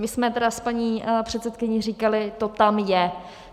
My jsme teda s paní předsedkyní říkali "to tam je".